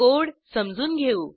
code समजून घेऊ